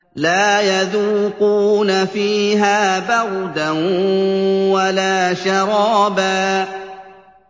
لَّا يَذُوقُونَ فِيهَا بَرْدًا وَلَا شَرَابًا